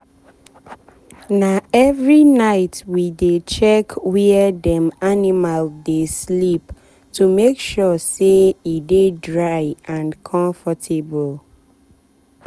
na every night we dey check where dem animal dey sleep to make sure say e dey dry and comfortable.